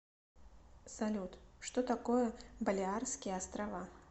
салют что такое балеарские острова